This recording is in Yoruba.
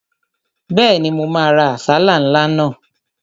Bẹ́ẹ̀ni, mo máa ra àsálà ńlá náà